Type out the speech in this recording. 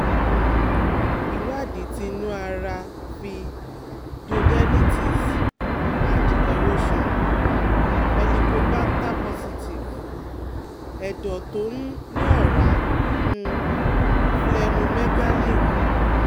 um Ìwádìí ti inu ara fi duodenitis and erosion, helicobacter positive, edo to um ni ora, um splenomegaly han